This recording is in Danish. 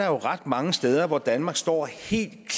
er ret mange steder hvor danmark står helt